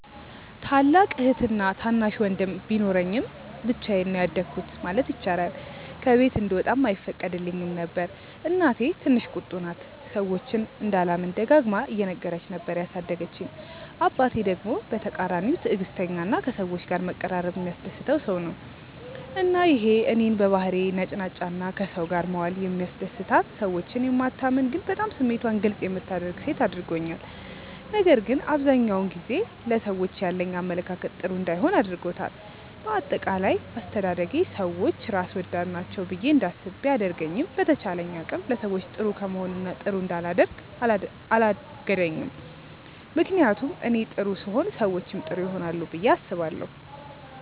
ታላቅ እህትና ታናሽ ወንድም ቢኖረኝም ብቻዬን ነው ያደኩት ማለት ይቻላል። ከቤት እንድወጣም አይፈቀድልኝም ነበር። እናቴ ትንሽ ቁጡ ናት፤ ሰዎችን እንዳላምን ደጋግማ እየነገረች ነበር ያሳደገችኝ። አባቴ ደግሞ በተቃራኒው ትዕግስተኛ እና ከሰዎች ጋር መቀራረብ የሚያስደስተው ሰው ነው። እና ይሄ እኔን በባህሪዬ ነጭናጫ ግን ከሰው ጋር መዋል የሚያስደስታት፣ ሰዎችን የማታምን ግን በጣም ስሜቷን ግልፅ የምታደርግ ሴት አድርጎኛል። ነገር ግን አብዛኛውን ጊዜ ለሰዎች ያለኝ አመለካከት ጥሩ እንዳይሆን አድርጎታል። በአጠቃላይ አስተዳደጌ ሰዎች ራስ ወዳድ ናቸው ብዬ እንዳስብ ቢያደርገኝም በተቻለኝ አቅም ለሰዎች ጥሩ ከመሆን እና ጥሩ እንዳላደርግ አላገደኝም። ምክንያቱም እኔ ጥሩ ስሆን ሰዎችም ጥሩ ይሆናሉ ብዬ አስባለሁ።